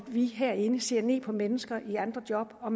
vi herinde ser ned på mennesker i andre job og